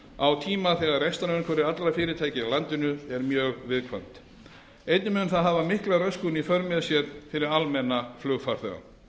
á tíma þegar rekstrarumhverfi allra fyrirtækja í landinu er mjög viðkvæmt einnig mun það hafa mikla röskun í för með sér fyrir almenna flugfarþega